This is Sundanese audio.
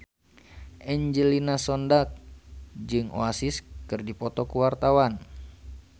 Angelina Sondakh jeung Oasis keur dipoto ku wartawan